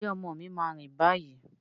Ǹjẹ́ ọmọ mi máa rìn báyìí?